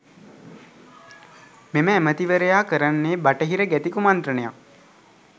මෙම ඇමතිවරයා කරන්නේ බටහිර ගැති කුමන්ත්‍රණයක්.